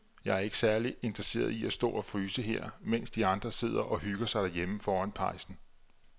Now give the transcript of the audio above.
Jeg er ikke særlig interesseret i at stå og fryse her, mens de andre sidder og hygger sig derhjemme foran pejsen.